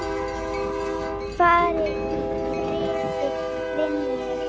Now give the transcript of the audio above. Far í friði, vinur.